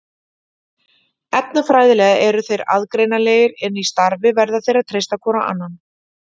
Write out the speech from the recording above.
Efnafræðilega eru þeir aðgreinanlegir en í starfi verða þeir að treysta hvor á annan.